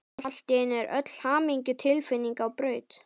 Allt í einu er öll hamingjutilfinning á braut.